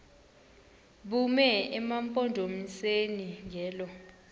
bume emampondomiseni ngelo